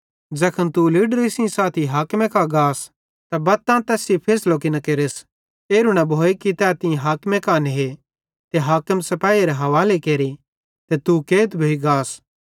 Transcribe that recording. ज़ैखन तू लीडरे सेइं साथी हाकिमे कां गाथ त बत्ते मां तैस सेइं फैसलो की न केरस एरू न भोए तै तीं हाकिमे कां ने ते हाकिम सिपाहीएरे हवाले केरे ते तू कैद भोइगास